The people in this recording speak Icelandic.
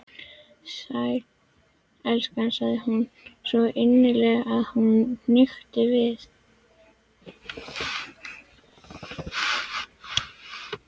Sæll, elskan sagði hún, svo innilega að honum hnykkti við.